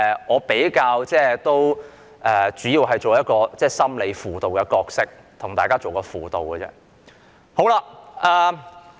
我會擔當心理輔導者的角色，為大家提供輔導。